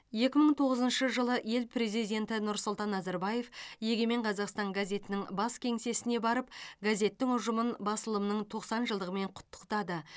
екі мың тоғызыншы жылы ел президенті нұрсұлтан назарбаев егемен қазақстан газетінің бас кеңсесіне барып газеттің ұжымын басылымның тоқсан жылдығымен құттықтады